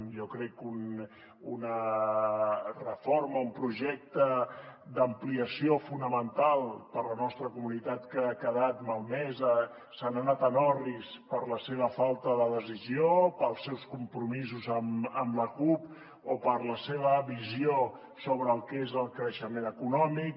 jo crec que una reforma un projecte d’ampliació fonamental per a la nostra comunitat que ha quedat malmesa se n’ha anat en orris per la seva falta de decisió pels seus compromisos amb la cup o per la seva visió sobre el que és el creixement econòmic